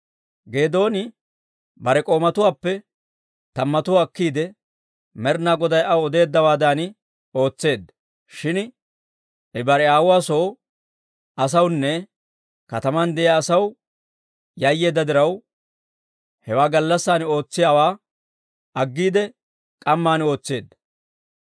Geedooni bare k'oomatuwaappe tammatuwaa akkiide, Med'inaa Goday aw odeeddawaadan ootseedda. Shin I bare aawuwaa soo asawunne kataman de'iyaa asaw yayyeedda diraw, hewaa gallassan ootsiyaawaa aggiide k'amman ootseedda.